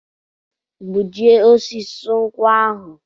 Gbujie osisi nkwụ ahụ!